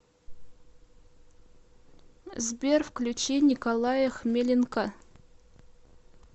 сбер включи николая хмеленка